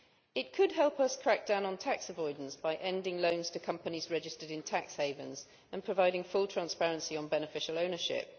It could help us crack down on tax avoidance by ending loans to companies registered in tax havens and providing full transparency on beneficial ownership.